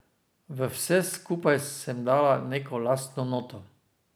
V vse skupaj sem dala neko lastno noto.